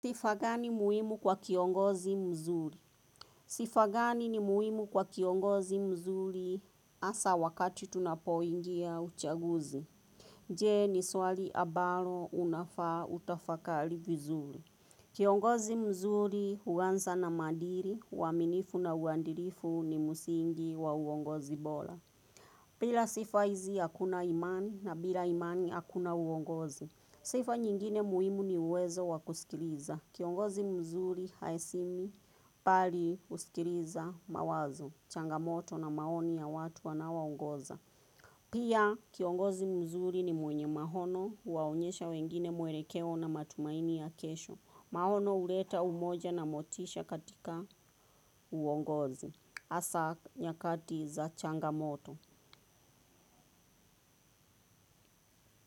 Sifa gani muhimu kwa kiongozi mzuri? Sifa gani ni muhimu kwa kiongozi mzuri hasa wakati tunapoingia uchaguzi? Je ni swali ambalo unafaa utafakari vizuri. Kiongozi mzuri huanza na maadili, uaminifu na uadlifu ni msingi wa uongozi bora. Bila sifa hizi hakuna imani na bila imani hakuna uongozi. Sifa nyingine muhimu ni uwezo wa kusikiliza. Kiongozi mzuri, haeshimi, bali kusikiliza mawazo, changamoto na maoni ya watu anaoongoza. Pia kiongozi mzuri ni mwenye mahono huwaonyesha wengine muelekeo na matumaini ya kesho. Mahono uleta umoja na motisha katika uongozi. Hasa nyakati za changamoto.